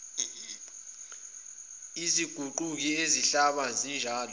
aziguquki zihlala zinjalo